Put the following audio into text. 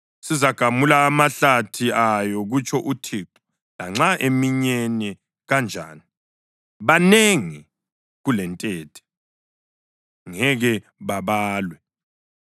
Sizagamula amahlathi ayo,” kutsho uThixo, “lanxa eminyene kanjani. Banengi kulentethe, ngeke babalwe.